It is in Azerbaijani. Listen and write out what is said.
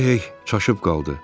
Röhey çaşıb qaldı.